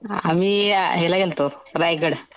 आम्ही याला गेलतो रायगड.